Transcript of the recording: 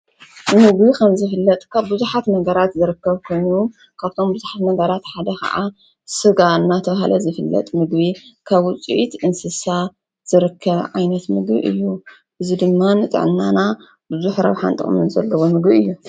ምግቢ ከም ዝፍለጥ ካብ ብዙሓት ነገራት ዝርከብ ኮይኑ ካብቶም ብዙሓት ነገራት ሓደ ከዓ ስጋ እናተብሃለ ዝፍለጥ ምግቢ ካብ ውፂኢት እንስሳ ዝርከብ ዓይነት ምግቢ እዩ። እዚ ድማ ንጥዕናና ብዙሕ ረብሓን ጥቅምን ዘለዎ ምግቢ እዩ።